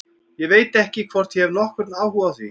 Ég veit ekki hvort ég hef nokkurn áhuga á því.